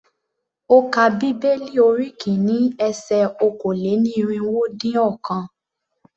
Ó ka bíbélì orí kìíní ese okòó-lé-ní-irínwó-dín-ọ̀kan.